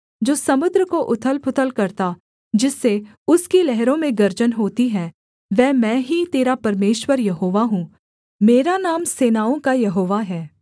जो समुद्र को उथलपुथल करता जिससे उसकी लहरों में गर्जन होती है वह मैं ही तेरा परमेश्वर यहोवा हूँ मेरा नाम सेनाओं का यहोवा है